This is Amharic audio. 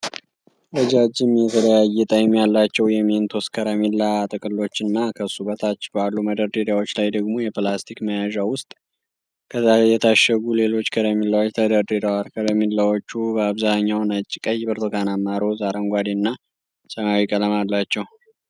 ረጃጅም የተለያየ ጣዕም ያላቸው የ'ሜንቶስ' ከረሜላ ጥቅሎች እና ከሱ በታች ባሉ መደርደሪያዎች ላይ ደግሞ የፕላስቲክ መያዣ ውስጥ የታሸጉ ሌሎች ከረሜላዎች ተደርድረዋል፡፡ ከረሜላዎቹ በአብዛኛው ነጭ፣ ቀይ፣ ብርቱካናማ፣ ሮዝ፣ አረንጓዴ እና ሰማያዊ ቀለም አላቸው።